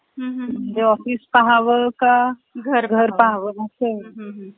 म्हणजे office पाहावं का घर .. घर .. पहावं आस आहे .